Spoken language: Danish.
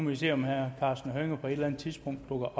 vi se om herre karsten hønge på et eller andet tidspunkt dukker